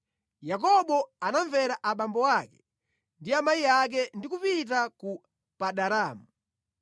Yakobo anamvera abambo ake ndi amayi ake ndi kupita ku Padanaramu.